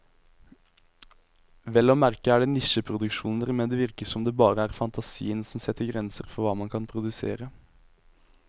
Vel å merke er det nisjeproduksjoner, men det virker som om det bare er fantasien som setter grenser for hva man kan produsere.